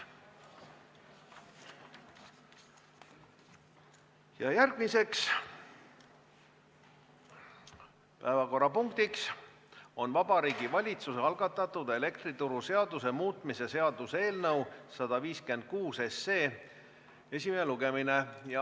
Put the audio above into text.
Järgmine päevakorrapunkt on Vabariigi Valitsuse algatatud elektrituruseaduse muutmise seaduse eelnõu 156 esimene lugemine.